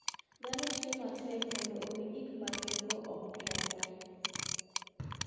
Dhano tiyo matek mondo omi gik ma gin-go okethre.